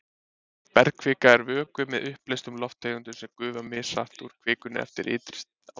Bergkvika er vökvi með uppleystum lofttegundum sem gufa mishratt úr kvikunni eftir ytri aðstæðum.